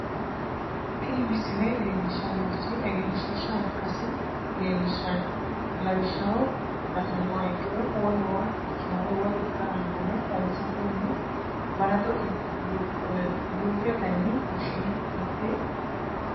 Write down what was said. tini misile leellishshannorichi egenshiishsha ikkasi leellishshanno lawishshaho la'nummoha ikkiro wolewa ikkinore woy ikkara noore xawisate yine balaxote luuketenni fushshine mitte basera